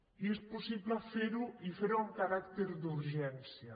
i és possible fer ho i fer ho amb caràcter d’urgència